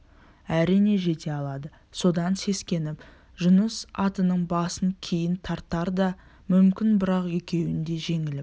әрине жете алады содан сескеніп жұныс атының басын кейін тартар да мүмкін бірақ екеуінде де жеңіліп